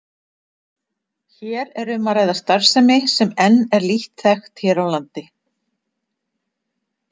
Hér er um að ræða starfsemi sem enn er lítt þekkt hér á landi.